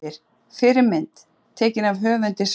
Myndir: Fyrri mynd: Tekin af höfundi svars.